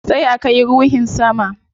Sai a kai ruhin sama